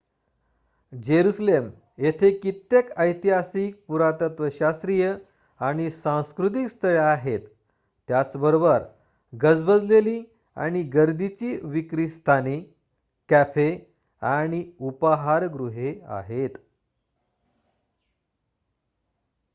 Jerusalem येथे कित्येक ऐतिहासिक पुरातत्वशास्त्रीय आणि सांस्कृतिक स्थळे आहेत त्याच बरोबर गजबजलेली आणि गर्दीची विक्री स्थाने कॅफे आणि उपाहारगृहे आहेत